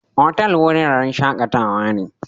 Otal wuraren shakatawa ne.